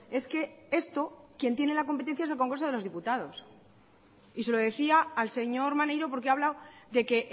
es que esto quien tiene la competencia es el congreso de los diputados y se lo decía al señor maneiro porque ha hablado de que